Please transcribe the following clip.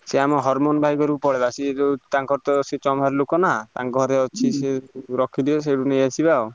ସିଏ ଆମ ହରମାନ ଭାଇ ଘରକୁ ପଳେଇବା ସିଏ ତ ତାଙ୍କର ତ ଚମର ଲୋକ ନାଁ ତାଙ୍କ ଘରେ ଅଛି ସେ ରଖିଥିବେ ସେଉଠୁ ନେଇଆସିବା ଆଉ।